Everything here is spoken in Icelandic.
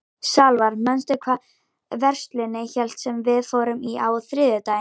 Salvar, manstu hvað verslunin hét sem við fórum í á þriðjudaginn?